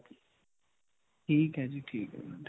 ਠੀਕ ਹੈ ਜੀ, ਠੀਕ ਹੈ ਜੀ.